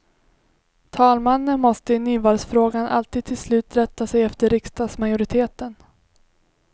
Talmannen måste i nyvalsfrågan alltid till slut rätta sig efter riksdagsmajoriteten.